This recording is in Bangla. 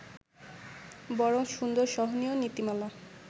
বরং সুন্দর-সহনীয় নীতিমালা